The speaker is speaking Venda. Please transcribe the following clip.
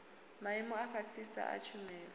maimo a fhasisa a tshumelo